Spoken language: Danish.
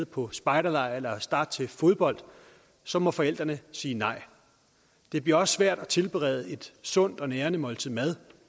på spejderlejr eller starte til fodbold så må forældrene sige nej og det bliver også svært at tilberede et sundt og nærende måltid mad